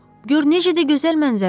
Gör necə də gözəl mənzərədir!